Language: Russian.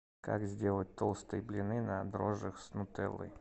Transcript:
как сделать толстые блины на дрожжах с нутеллой